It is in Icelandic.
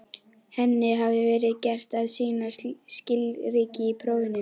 Henni hafði verið gert að sýna skilríki í prófinu.